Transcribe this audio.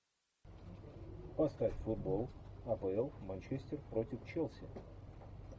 поставь футбол апл манчестер против челси